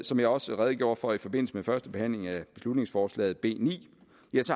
som jeg også redegjorde for i forbindelse med første behandling af beslutningsforslag b ni